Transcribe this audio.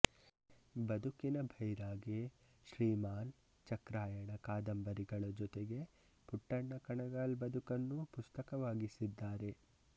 ಬದುಕಿನ ಭೈರಾಗಿ ಶ್ರೀಮಾನ್ ಚಕ್ರಾಯಣ ಕಾದಂಬರಿಗಳ ಜೊತೆಗೆ ಪುಟ್ಟಣ್ಣ ಕಣಗಾಲ್ ಬದುಕನ್ನೂ ಪುಸ್ತಕವಾಗಿಸಿದ್ದಾರೆ